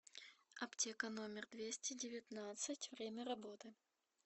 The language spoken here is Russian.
аптека номер двести девятнадцать время работы